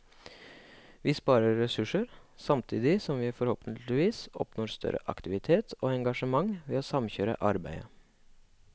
Vi sparer ressurser, samtidig som vi forhåpentligvis oppnår større aktivitet og engasjement ved å samkjøre arbeidet.